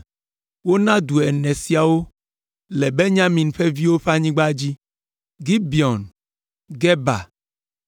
Wona du ene siawo wo, le Benyamin ƒe viwo ƒe anyigba dzi: Gibeon, Geba,